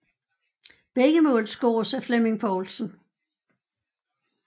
Begge mål scores af Flemming Povlsen